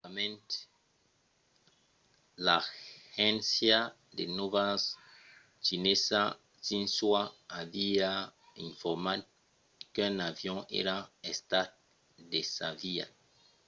anteriorament l'agéncia de nòvas chinesa xinhua aviá informat qu'un avion èra estat desaviat